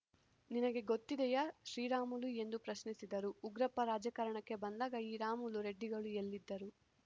ನಿನಗೆ ಗೊತ್ತಿದೆಯಾ ಶ್ರೀರಾಮುಲು ಎಂದು ಪ್ರಶ್ನಿಸಿದರು ಉಗ್ರಪ್ಪ ರಾಜಕಾರಣಕ್ಕೆ ಬಂದಾಗ ಈ ರಾಮುಲು ರೆಡ್ಡಿಗಳು ಎಲ್ಲಿದ್ದರು